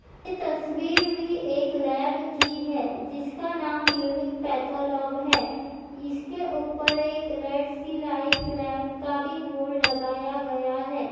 ये तस्वीर भी एक लैब की है जिनका नाम यूनिक पैथोलोब है इसके ऊपर एक रेडसीलाइफ फ्लेग का भी बोर्ड लगाया गया है।